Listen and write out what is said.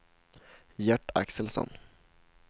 Gert Axelsson